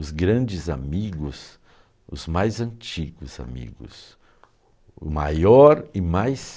Os grandes amigos, os mais antigos amigos, o maior e mais...